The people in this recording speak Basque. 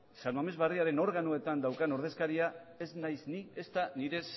san mames barriaren organoetan daukan ordezkaria ez naiz ni ezta nire